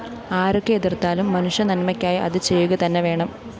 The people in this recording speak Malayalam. ആരൊക്കെ എതിര്‍ത്താലും മനുഷ്യനന്മക്കായി അത് ചെയ്യുക തന്നെ വേണം